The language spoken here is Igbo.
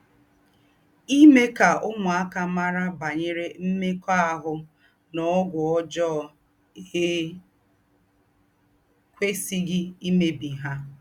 Ímè ká úmùákà márà bànyèrè m̀mèkọ́àhù́ nà ógwù ójọ́ è kwèsíghí ímèbí hà.